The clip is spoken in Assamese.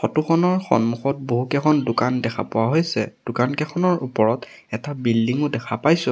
ফটো খনৰ সন্মুখত বহু কেইখন দোকান দেখা পোৱা হৈছে দোকান কেইখনৰ ওপৰত এটা বিল্ডিং ও দেখা পাইছোঁ।